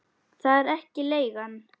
Það er ekki leigan.